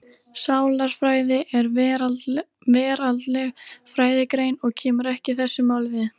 Sálarfræði er veraldleg fræðigrein og kemur ekki þessu máli við.